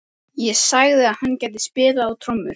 Ég sagði að hann gæti spilað á trommur.